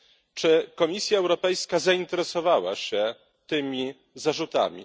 Czy Komisja Europejska zainteresowała się tymi zarzutami?